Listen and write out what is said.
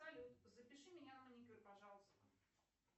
салют запиши меня на маникюр пожалуйста